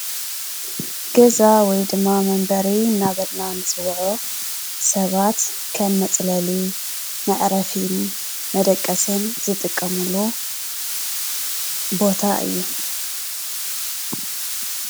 ገዛ ወይ ድማ መንበሪ እንዳበልና እንፅዎዖ ሰባት ከም መፅለሊ፣ መዕረፍን ፣መደቀስን ዝጥቀምሉ ቦታ እዩ።